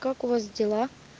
как у вас дела